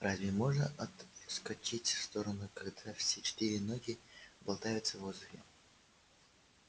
разве можно отскочить в сторону когда все четыре ноги болтаются в воздухе